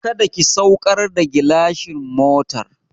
Kada ki saukar da gilashin motar!